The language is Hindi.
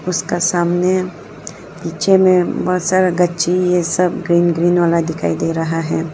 उसका सामने पिक्चर में बहुत सारा गच्ची ये सब ग्रीन ग्रीन वाला दिखाई दे रहा है।